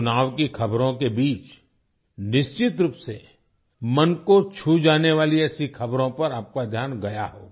चुनाव की खबरों के बीच निश्चित रूप से मन को छू जाने वाली ऐसी खबरों पर आपका ध्यान गया होगा